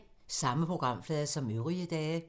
Samme programflade som øvrige dage